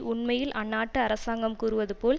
உண்மையில் அந்நாட்டு அரசாங்கம் கூறுவதுபோல்